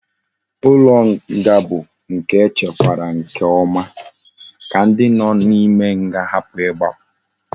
Ulo nga bu nke echekwara nke oma ka ndi no na ime nga hapu igbapu